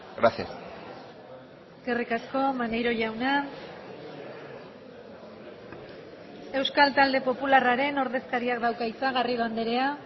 gracias eskerrik asko maneiro jauna euskal talde popularraren ordezkariak dauka hitza garrido andrea